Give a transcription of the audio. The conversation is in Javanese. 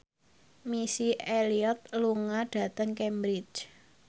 Missy Elliott lunga dhateng Cambridge